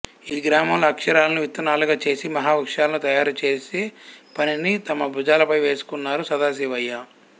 ఈ గ్రామంలో అక్షరాలను విత్తనాలుగా చేసి మహావృక్షాలను తయారు చేసే పనిని తమ భుజాలపై వేసుకున్నారు సదాశివయ్య